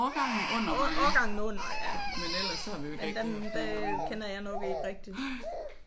Årgangen under ja men den den kender jeg nok ikke rigtig